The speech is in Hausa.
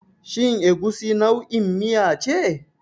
Shin Egusi nau'in miya ce?